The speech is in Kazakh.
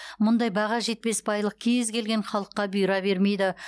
мұндай баға жетпес байлық кез келген халыққа бұйыра бермейді